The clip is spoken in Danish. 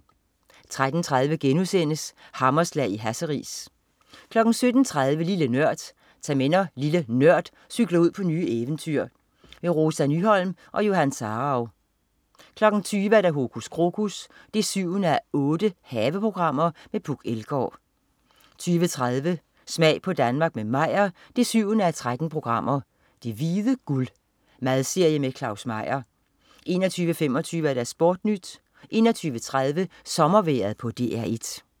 13.30 Hammerslag i Hasseris* 17.30 Lille Nørd. Tag med når "LilleNØRD" cykler ud på nye eventyr. Rosa Nyholm og Johan Sarauw 20.00 Hokus krokus 7:8. Haveprogram med Puk Elgård 20.30 Smag på Danmark med Meyer 7:13. "Det hvide guld". Madserie med Claus Meyer 21.25 SportNyt 21.30 Sommervejret på DR1